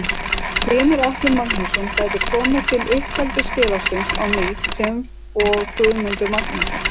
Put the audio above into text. Hlynur Atli Magnússon gæti komið til uppeldisfélagsins á ný sem og Guðmundur Magnússon.